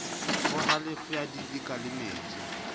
ho halofo ya didika lemetseng